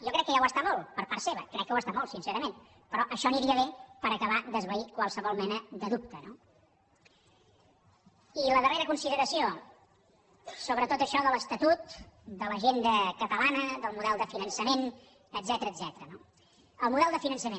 jo crec que ja ho està molt per part seva crec que ho està molt sincerament però això aniria bé per acabar d’esvair qualsevol mena de dubte no i la darrera consideració sobre tot això de l’estatut de l’agenda catalana del model de finançament etcètera no el model de finançament